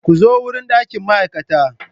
Ku zo wurin ɗakin ma'aikata.